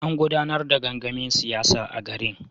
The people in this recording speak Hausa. An gudanar da gangamin siyasa a garin.